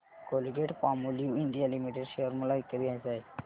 Colgate Palmolive India limited share मला विकत घ्यायचे आहेत